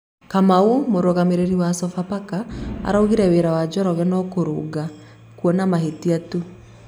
Kamau, Mũrũgamĩrĩri wa Sofapaka araugire wĩra wa Njoroge no kũrũnga(kuona mahĩtia) tu